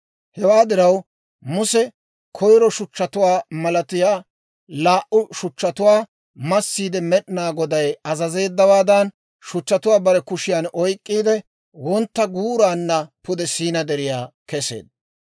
Hewaa diraw, Muse koyro shuchchatuwaa malatiyaa laa"u shuchchatuwaa massiide Med'inaa Goday azazeeddawaadan, shuchchatuwaa bare kushiyaan oyk'k'iide, wontta guuraanna pude Siinaa Deriyaa keseedda.